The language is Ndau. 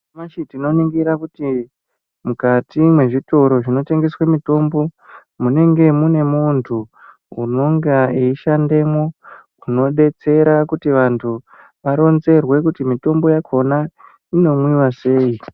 Nyamashi tinoningira kuti mukati mezvitoro zvinotengesa mutombo munenge muine mundu unonga eishandamo inodetsera kuti vandu varonzerwe kuti mutombo wakona unomwiwa sei.